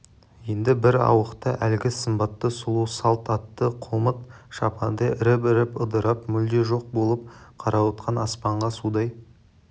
енді бір ауықта әлгі сымбатты сұлу салт атты қомыт шапандай іріп-іріп ыдырап мүлде жоқ болып қарауытқан аспанға судай